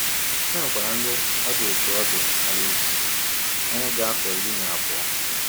E nwekwara ndị ọ dị otú ọ dị Alice, ọnye dị afọ iri na abụọ.